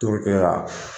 Torokɛ la